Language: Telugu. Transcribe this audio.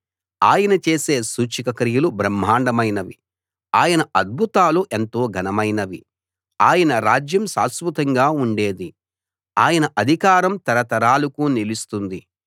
ఆయన చేసే సూచక క్రియలు బ్రహ్మాండమైనవి ఆయన అద్భుతాలు ఎంతో ఘనమైనవి ఆయన రాజ్యం శాశ్వతంగా ఉండేది ఆయన అధికారం తరతరాలకు నిలుస్తుంది